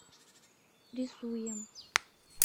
рисуем